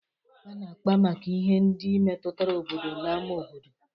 A na-àkpá maka ihe ndị metụtara obodo na n'ámá obodo.